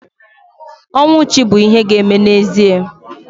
Ọnwụ chi bụ ihe ga-eme n'ezie